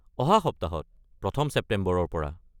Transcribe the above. অহা সপ্তাহত, প্ৰথম ছেপ্টেম্বৰৰ পৰা।